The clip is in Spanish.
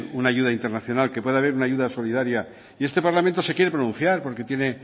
una ayuda internacional que pueda haber una ayuda solidaria y este parlamento se quiere pronunciar porque tiene